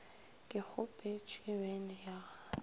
ke kgopetše bene ya ga